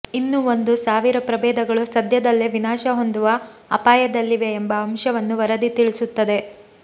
ಇನ್ನೂ ಒಂದು ಸಾವಿರ ಪ್ರಬೇಧಗಳು ಸಧ್ಯದಲ್ಲೇ ವಿನಾಶ ಹೊಂದುವ ಅಪಾಯದಲ್ಲಿವೆ ಎಂಬ ಅಂಶವನ್ನು ವರದಿ ತಿಳಿಸುತ್ತದೆ